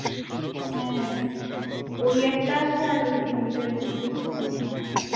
হ্যাঁ ওই একটা আছে আর ওই tent এর মধ্যেই একটা আছে